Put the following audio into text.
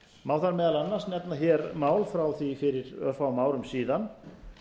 má þar meðal annars nefna hér mál frá því fyrir örfáum árum síðan